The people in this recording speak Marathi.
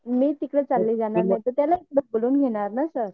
मी तिकडे चालून जाणार नाहीतर त्याला इकडे बोलवून घेणार ना सर.